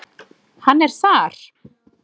Hann er þar.